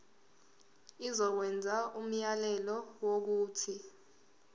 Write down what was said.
izokwenza umyalelo wokuthi